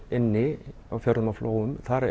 inni á fjörðum og flóum þar